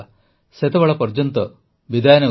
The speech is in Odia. ସେତେବେଳ ପର୍ଯ୍ୟନ୍ତ ବିଦାୟ ନେଉଛି